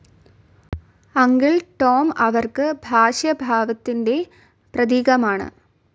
Uncle Tom അവർക്ക് ഭാഷ്യഭാവത്തിൻ്റെ പ്രതീകമാണ്.